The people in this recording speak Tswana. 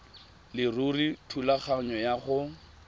leruri thulaganyo ya go